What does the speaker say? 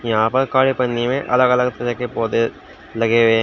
यहां पर काले पन्नी में अलग अलग तरह के पौधे लगे हुए हैं।